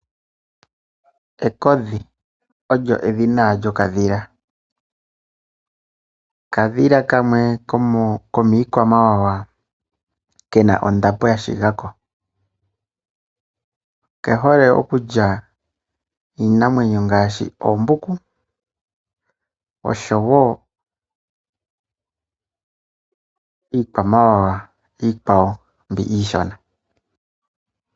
Ekodhi olyo edhina lyokadhila. Okadhila kamwe komiikwamawawa ke na ondapo ya shiga ko. Oke hole okulya iinamwenyo ngaashi oombuku, osho wo iikwamawawa iikwawo mbi iishona.